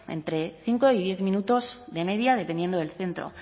entre cinco y diez minutos de media dependiendo del centro